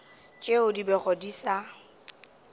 tšeo di bego di sa